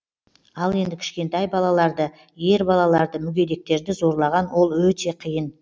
ал енді кішкентай балаларды ер балаларды мүгедектерді зорлаған ол өте қиын